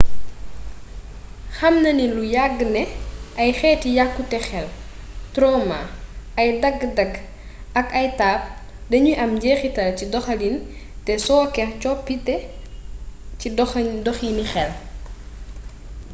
xam nanu lu yàgg ne ay xeeti yàkkute xel tromaa ay dagg-dagg ak ay taab danuy am njeexital ci doxalin te sooke coppite ci doxini xel